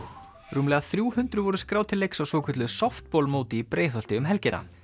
rúmlega þrjú hundruð voru skráð til leiks á svokölluðu í Breiðholti um helgina